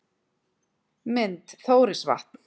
Mynd: Þórisvatn